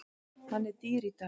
Hann er dýr í dag.